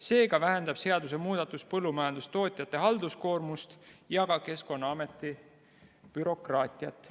Seega vähendab seadusemuudatus põllumajandustootjate halduskoormust ja ka Keskkonnaameti bürokraatiat.